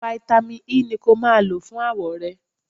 Fáítámì E ni kó máa lọ fún àwọ̀ rẹ.